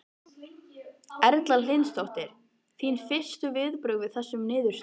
Erla Hlynsdóttir: Þín fyrstu viðbrögð við þessum niðurstöðum?